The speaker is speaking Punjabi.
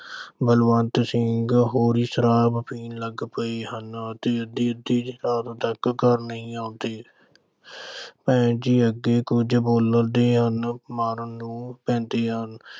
ਬਲਵੰਤ ਸਿੰਘ ਹੋਰੀਂ ਸ਼ਰਾਬ ਪੀਣ ਲੱਗ ਪਏ ਹਨ ਤੇ ਦੇਰ-ਦੇਰ ਤੱਕ ਘਰ ਨਹੀਂ ਆਉਂਦੇ ਭੈਣ ਜੀ ਅੱਗੋਂ ਕੁਝ ਬੋਲਦੇ ਹਨ ਤਾਂ ਉਹ ਮਾਰਨ ਨੂੰ ਪੈਂਦੇ ਹਨ।